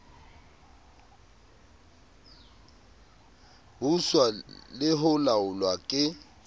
buswa le ho laolwa ke